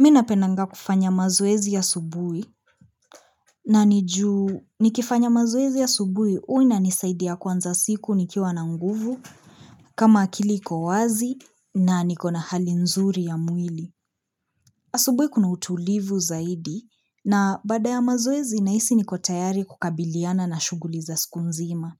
Mi napendanga kufanya mazoezi asubuhi na ni juu nikifanya mazoezi asubuhi u inanisaidia kuanza siku nikiwa na nguvu kama akili iko wazi na nikona hali nzuri ya mwili. Asubuhi kuna utulivu zaidi na baada ya mazoezi nahisi niko tayari kukabiliana na shughuli za siku nzima.